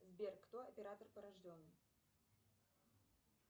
сбер кто оператор